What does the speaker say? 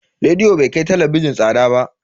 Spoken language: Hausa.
Rediyo bai kai talabijin tsada ba.